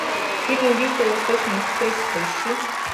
фильм убийство в восточном экспрессе поищи